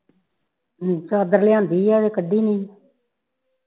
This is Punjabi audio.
ਹਮ ਚਾਦਰ ਲਿਆਦੀ ਆ ਅਜੇ ਕੱਢੀ ਨੀ